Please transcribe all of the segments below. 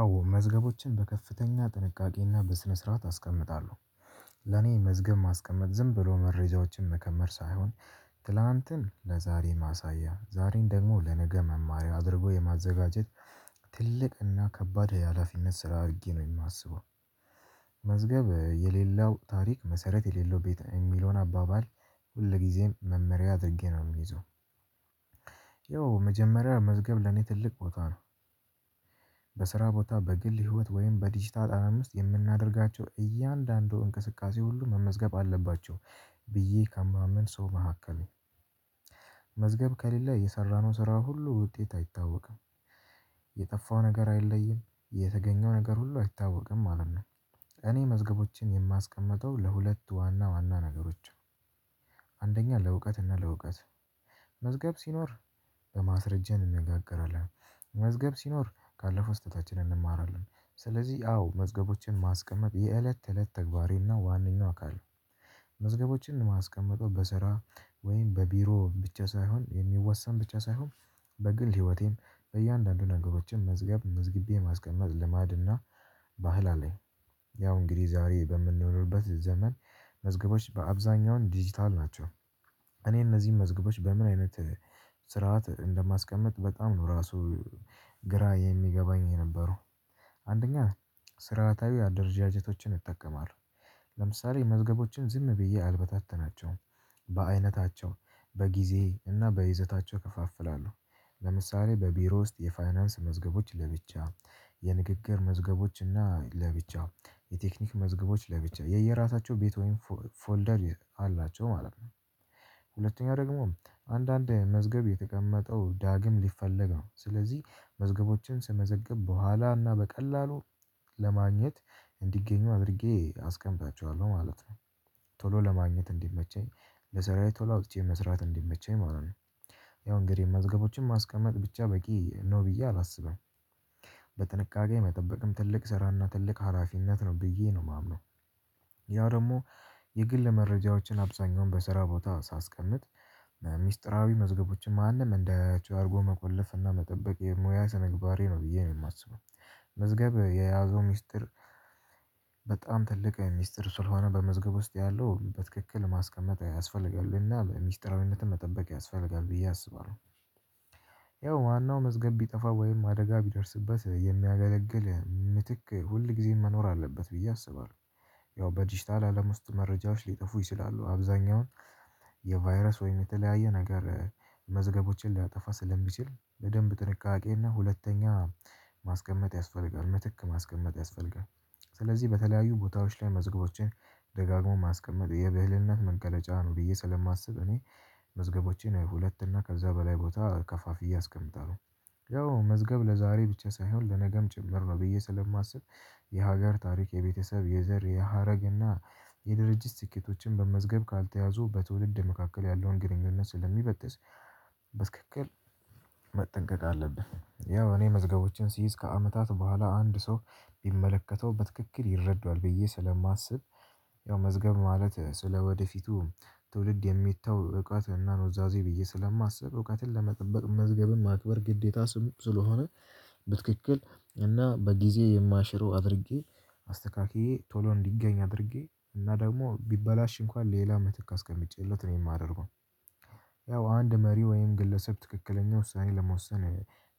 አዎ መዝገቦችን በከፍተኛ ጥንቃቄ እና በስነ ስርዓት አስቀምጣለሁ ለኔ መዝገብ ማስቀመጥ ዝምብሎ መሬጃዎችን መከመር ሳይሆን ትላንትን ለዛሬ ማሳያ ዛሬን ደግሞ ለነገ መማሪያው አድርጎ የማዘጋጀት ትልቅ እና ከባድ የሀላፊነት ስራ አድርጌ ነው የማስበው። መዝገብ የሌለው ታሪክ መሰረት የሌለው ቤት የሚለውን አባባል ሁልጊዜም መመሪያ አድርጌ ነው የምይዘው። ያው መጀመሪያ መዝገብ ለኔ ትልቅ ቦታ ነው። በስራ ቦታ በግል ህይወት ወይም በዲጂታል አለም ውስጥየምናደርጋቸው እያንዳንዱ እንቅስቃሴ ሁሉ መመዝገብ አለባቸው። ብዬ ከማምን ሰው መካከሌ መዝገብ ከሌለ የሰራነው ስራ ሁሉ ውጤት አይታወቅም። የጠፋው ነገር አይለይም የተገኘው ነገር ሁሉ አይታወቅም ማለት ነው። እኔ መዝገቦችን የማስቀምጠው ለሁለት ዋና ዋና ነገሮች። አንደኛ ለእውቀት እና ለእውቀት መዝገብ ሲኖር በማስረጃ እንነጋገራለን መዝገብ ሲኖር ካለፈው ስህተታችንን እንማራለን። ስለዚህ አዎ መዝገቦችን ማስቀመጥ የእለት እለት ተግባሬ እና ዋናው አካል። መዝገቦችን ማስቀምጠው በስራ ወይም በቢሮ ብቻ ሳይሆን የሚወሰን ብቻ ሳይሆን በግል ህይወቴም በእያንዳንዱ ነገሮችን መዝገብ መዝግቤ ማስቀመጥ ልማድና ባህል አለኝ። ያው እንግዲህ ዛሬ በምንኖርበት ዘመን መዝገቦች በአብዛኛው ዲጂታል ናቸው። እኔ እነዚህን መዝገቦች በምን አይነት ስርዓት እንደማስቀምጥ በጣም ነው ራሱ ግራ የሚገባኝ የነበረው። አንደኛ ስርአታዊ አደረጃጀቶችን እጠቀማለሁ። ለምሳሌ መዝገቦችን ዝም ብዬ አልበታተናቸውም። በአይነታቸው በጊዜ እና በይዘታቸው እከፋፍላለሁ። ለምሳሌ በቢሮ ውስጥ የፋይናንስ መዝገቦች ለብቻ የንግግር መዝገቦች እና ለብቻ የቴክኒክ መዝገቦች ለብቻ የየራሳቸው ቤት ወይም ፎልደር አላቸው ማለት ነው። ሁለተኛው ደግሞ አንዳንድ መዝገብ የተቀመጠው ዳግም ሊፈለግ ነው ስለዚህ መዝገቦችን ስመዘግብ በኋላና በቀላሉ ለማግኘት እንዲገኙ አድርጌ አስቀምጣችኋለሁ ማለት ነው። ቶሎ ለማግኘት እንዲመቸኝ ለሰራዬ ቶሎ አውጥቼ መስራት እንዲመቸኝ ማለት ነው። ያው እንግዲህ መዝገቦችን ማስቀመጥ ብቻ በቂ ነው ብዬ አላስብም። በጥንቃቄ መጠበቅም ትልቅ ስራ እና ትልቅ ሀላፊነት ነው ብዬ ነው የማምነው። ያው ደግሞ የግል መረጃዎችን አብዛኛውን በስራ ቦታ ሳስቀምጥ ሚስጥራዊ መዝገቦችን ማንም እንዳያያቸው አርጎ መቆለፍ እና መጠበቅ የሙያ ስነምግባሬ ነው ብዬ ነው የማስበው። መዝገብ የያዘው ሚስጥር በጣም ትልቅ ሚስጥር ስለሆነ በመዝገብ ውስጥ ያለው በትክክል ማስቀመጥ ያስፈልጋል እና በሚስጥራዊነትም መጠበቅ ያስፈልጋል ብዬ አስባለሁ። ያው ዋናው መዝገብ ቢጠፋ ወይም አደጋ ቢደርስበት የሚያገለግል ምትክ ሁል ጊዜም መኖር አለበት ብዬ አስባለሁ። ያው በዲጂታል አለም ውስጥ መረጃዎች ሊጠፉ ይችላሉ። አብዛኛውን የቫይረስ ወይም የተለያየ ነገር መዝገቦችን ሊያጠፋ ስለሚችል ለደንብ ጥንቃቄ እና ሁለተኛ ማስቀመጥ ያስፈልጋል ምትክ ማስቀመጥ ያስፈልጋል። ስለዚህ በተለያዩ ቦታዎች ላይ መዝገቦችን ደጋግሞ ማስቀመጥ የብህልነት መንገድ መገለጫ ነው ብዬ ስለማስብ እኔ መዝገቦቼን ሁለት እና ከዛ በላይ ቦታ ከፋፍዬ አስቀምጠዋለሁ። ያው መዝገብ ለዛሬ ብቻ ሳይሆን ለነገም ጭምር ነው ብዬ ስለማስብ የሀገር ታሪክ የቤተሰብ የዘር የሀረግ እና የድርጅት ስኬቶችን በመዝገብ ካልተያዙ በትውልድ መካከል ያለውን ግንኙነት ስለሚበትስ በስክክል መጠንቀቅ አለብን። ያው እኔ መዝገቦችን ሲይዝ ከአመታት በኋላ አንድ ሰው ቢመለከተው በትክክል ይረዷዎ ብዬ ስለማስብ። ያው መዝገብ ማለት ስለወደፊቱ ትውልድ የሚታው ብቃት እና ኑዛዜ ብዬ ስለማስብ እውቀትን ለመጠበቅ መዝገብን ማክበር ግዴታ ስለሆነ። በትክክል እና በጊዜ የማልሽረው አድርጌ አስተካክዬ ቶሎ እንዲገኝ አድርጌ እና ደግሞ ቢበላሽ እንኳን ሌላ መትክ አቀምጬለት ነው የማደርገው። ያው አንድ መሪ ወይም ግለሰብ ትክክለኛ ውሳኔ ለመወሰን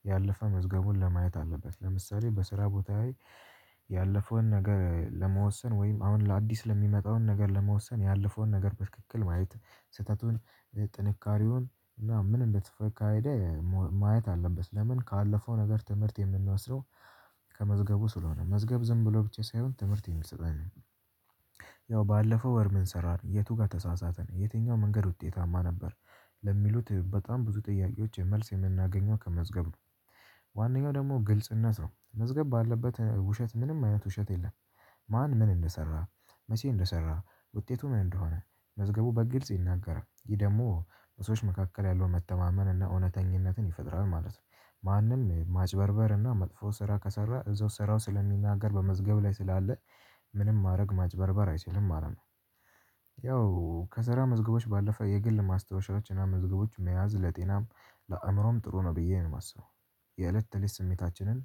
ያለፈ መዝገቡን ለማየት አለበት ለምሳሌ በስራ ቦታ ያለፈውን ነገር ለመወሰን ወይም አሁን ለአዲስ ለሚመጣውን ነገር ለመወሰን ያለፈውን ነገር በትክክል ማየት ስህተቱን ጥንካሬውን እና ምን እንደተፈካሄደ ማየት አለበት። ለምን ካለፈው ነገር ትምህርት የምንወስደው ከመዝገቡ ስለሆነ መዝገብ ዝም ብሎ ብቻ ሳይሆን ትምህርት የሚስጠኝ ነው። ያው ባለፈው ወር ምን ሰራን ነው የቱ ጋር ተሳሳተን የትኛው መንገድ ውጤታማ ነበር? ለሚሉት በጣም ብዙ ጥያቄዎች መልስ የምናገኘው ከመዝገብ ነው። ዋናው ደግሞ ግልጽነት ነው መዝገብ ባለበት ውሸት ምንም አይነት ውሸት የለም። ማን ምን እንደሰራ መቼ እንደሰራ ውጤቱ ምን እንደሆነ መዝገቡ በግልጽ ይናገራል ይህ ደግሞ በሰዎች መካከል ያለው መተማመን እና እውነተኛነትን ይፈጥራል ማለት ነው። ማንም ማጭበርበር እና መጥፎ ስራ ከሰራ እዛው ስራው ስለሚናገር በመዝገብ ላይ ስላለ ምንም ማረግ ማጭበርበር አይችልም ማለት ነው። ያው ከስራ መዝገቦች ባለፈ የግል ማስታወሻችን አመዝገቦች መያዝ ለጤናም ለአእምሮም ጥሩ ነው ብዬ ነው የማስበው። የእለት ተለት ስሜታችንን